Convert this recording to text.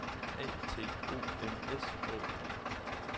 A T O M S A G